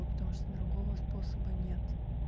потому что другого способа нет